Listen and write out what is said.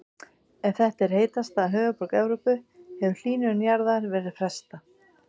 Ef þetta er heitasta höfuðborg Evrópu hefur hlýnun jarðar verið frestað.